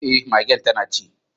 Eh magen tana ci.